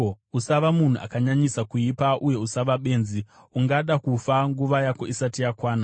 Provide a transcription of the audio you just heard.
Usava munhu akanyanyisa kuipa, uye usava benzi. Ungada kufa nguva yako isati yakwana?